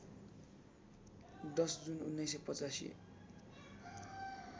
१० जुन १९८५